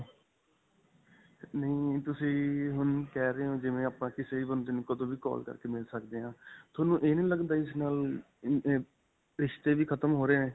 ਨਹੀਂ ਤੁਸੀਂ ਹੁਣ ਕਿਹ ਰਹੇ ਹੋ ਜਿਵੇਂ ਆਪਾਂ ਕਿਸੇ ਵੀ ਬੰਦੇ ਨੂੰ ਕਦੋਂ ਵੀ ਕਾਲ ਕਰਕੇ ਮਿਲ ਸਕਦੇ ਹਾਂ. ਤੁਹਾਨੂੰ ਇਹ ਨਹੀ ਲੱਗਦਾ ਇਸ ਨਾਲ ਰਿਸ਼ਤੇ ਵੀ ਖ਼ਤਮ ਹੋ ਰਹੇ ਹੈ.